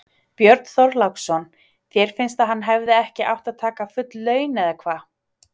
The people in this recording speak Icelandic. Björn Þorláksson: Þér finnst að hann hefði ekki átt að taka full laun eða hvað?